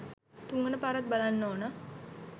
තුන්වන පාරත් බලන්න ඕනා.